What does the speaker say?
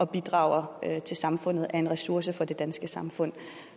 bidrager til samfundet og er en ressource for det danske samfund